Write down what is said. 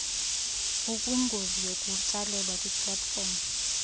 ukwingozi yokutsalelwa kwiplatfomu